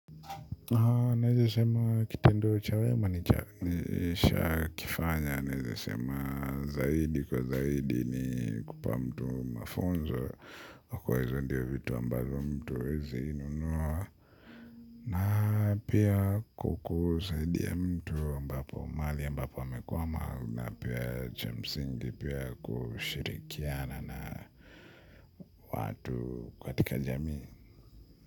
Naeza sema kitendo cha wema ni cha nisha kifanya naeza sema zaidi kwa zaidi ni kupa mtu mafunzo. Hukua hizo ndio vitu ambazo mtu hawezi nunuwa. Na pia kwa kusaidia mtu ambapo mali ambapo amekuwma. Na pia chamsingi pia kushirikiana na watu katika jamii.